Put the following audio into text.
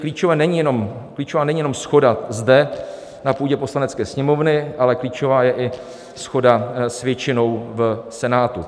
Klíčová není jenom shoda zde na půdě Poslanecké sněmovny, ale klíčová je i shoda s většinou v Senátu.